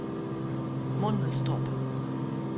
Mundelstrup